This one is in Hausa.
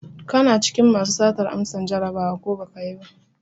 Kana cikin masu satar amsan Jarabawa, ko baka yi ba?